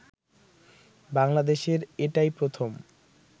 বাংলাদেশের এটাই প্রথম